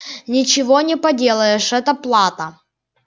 ничего не поделаешь это плата